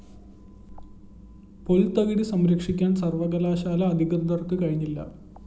പുല്‍ത്തകിടി സംരക്ഷിക്കാന്‍ സര്‍വ്വകലാശാല അധികൃതര്‍ക്ക് കഴിഞ്ഞില്ല